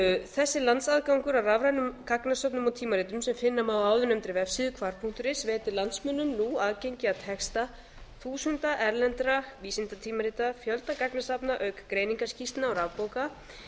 þessi landsaðgangur að rafrænum gagnasöfnum og tímaritum sem finna má á áðurnefndri vefsíðu hvar punktur is veitir landsmönnum nú aðgengi að texta þúsunda erlendra vísindatímarita og fjölda gagnasafna auk greiningarskýrslna og rafbóka